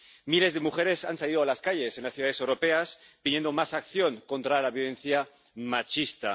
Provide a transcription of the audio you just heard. Miles de mujeres han salido a las calles en las ciudades europeas, pidiendo más acción contra la violencia machista.